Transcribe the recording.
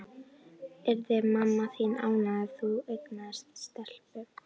Yrði mamma þín ánægðari ef hún eignaðist stelpu?